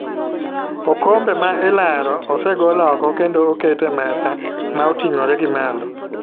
Okombe ma ilero osegol oko kendo oket e mesa ma otingore gi malo